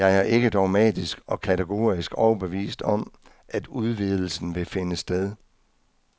Jeg er ikke dogmatisk og kategorisk overbevist om, at udvidelsen vil finde sted.